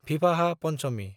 Vivah Panchami